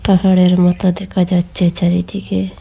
পাহাড়ের মত দেখা যাচ্ছে চারিদিগে।